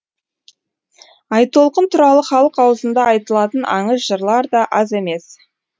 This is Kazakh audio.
айтолқын туралы халық аузында айтылатын аңыз жырлар да аз емес